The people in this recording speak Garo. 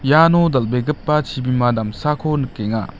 iano dal·begipa chibima damsako nikenga.